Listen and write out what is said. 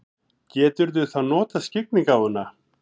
Geturðu þá notað skyggnigáfuna?